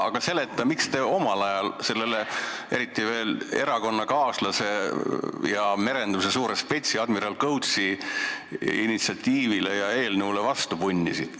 Aga seleta, miks te omal ajal sellele erakonnakaaslase ja merenduse suure spetsi admiral Kõutsi initsiatiivile ja eelnõule vastu punnisite?